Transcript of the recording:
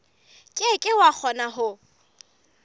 ke ke wa kgona ho